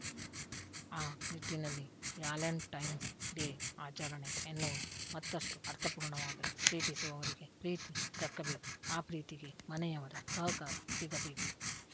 ಆ ನಿಟ್ಟಿನಲ್ಲಿ Valentine's Day ಆಚರಣೆ ಎನ್ನುವುದು ಮತ್ತಷ್ಟುಅರ್ಥಪೂರ್ಣವಾಗಲಿ ಪ್ರೀತಿಸುವವರಿಗೆ ಪ್ರೀತಿ ದಕ್ಕಬೇಕು ಆ ಪ್ರೀತಿಗೆ ಮನೆಯವರ ಸಹಕಾರ ಸಿಗಬೇಕು